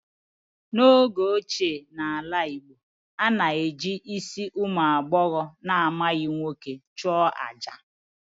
N'oge ochie n'ala Igbo, a na-eji isi ụmụ agbọghọ na-amaghị nwoke achụ àjà